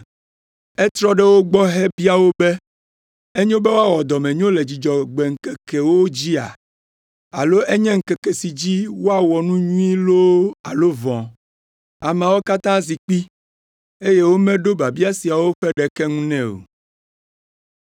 Etrɔ ɖe wo gbɔ hebia wo be, “Enyo be woawɔ dɔmenyo le Dzudzɔgbe ŋkekewo dzia? Alo enye ŋkeke si dzi woawɔ nu nyui loo alo vɔ̃?” Ameawo katã zi kpi, eye womeɖo biabia siawo ƒe ɖeke ŋu nɛ o.